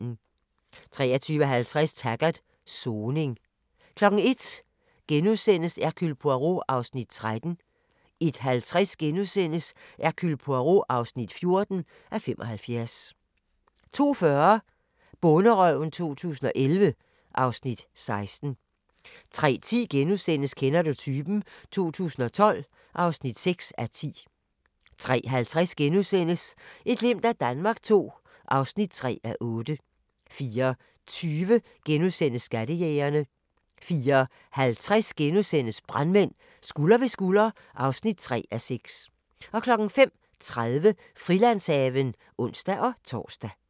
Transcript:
23:50: Taggart: Soning 01:00: Hercule Poirot (13:75)* 01:50: Hercule Poirot (14:75)* 02:40: Bonderøven 2011 (Afs. 16) 03:10: Kender du typen? 2012 (6:10)* 03:50: Et glimt af Danmark II (3:8)* 04:20: Skattejægerne * 04:50: Brandmænd – skulder ved skulder (3:6)* 05:30: Frilandshaven (ons-tor)